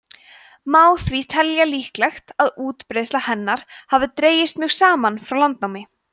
má því telja líklegt að útbreiðsla hennar hafi dregist mjög saman frá landnámi